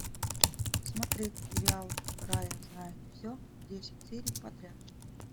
смотреть сериал рая знает все десять серий подряд